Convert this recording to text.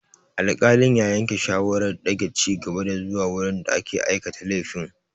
Alƙalin ya yanke shawarar dage ci gaba zuwa wurin da aka aikata laifin.